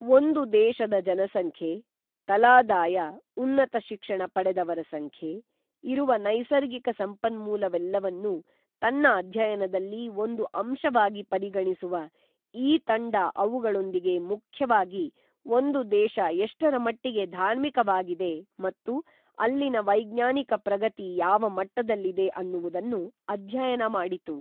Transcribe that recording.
ಒಂದು ದೇಶದ ಜನಸಂಖ್ಯೆ, ತಲಾದಾಯ, ಉನ್ನತ ಶಿಕ್ಷಣ ಪಡೆದವರ ಸಂಖ್ಯೆ, ಇರುವ ನೈಸರ್ಗಿಕ ಸಂಪನ್ಮೂಲವೆಲ್ಲವನ್ನು ತನ್ನ ಅಧ್ಯಯನದಲ್ಲಿ ಒಂದು ಅಂಶವಾಗಿ ಪರಿಗಣಿಸುವ ಈ ತಂಡ ಅವುಗಳೊಂದಿಗೆ ಮುಖ್ಯವಾಗಿ ಒಂದು ದೇಶ ಎಷ್ಟರ ಮಟ್ಟಿಗೆ ಧಾರ್ಮಿಕವಾಗಿದೆ ಮತ್ತು ಅಲ್ಲಿನ ವೈಜ್ಞಾನಿಕ ಪ್ರಗತಿ ಯಾವ ಮಟ್ಟದಲ್ಲಿದೆ ಅನ್ನುವುದನ್ನು ಅಧ್ಯಯನ ಮಾಡಿತು.